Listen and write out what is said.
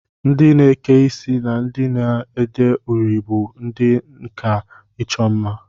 Ndị na-eke isi na ndị na-ede uri bụ ndị nkà ịchọ mma